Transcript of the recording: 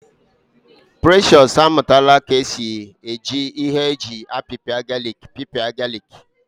Precious amụtala ka esi eji ihe eji apipia galik pịpịa galik